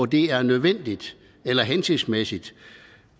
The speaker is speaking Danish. det er nødvendigt eller hensigtsmæssigt